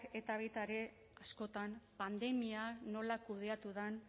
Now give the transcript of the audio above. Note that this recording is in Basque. eta baita ere askotan pandemia nola kudeatu den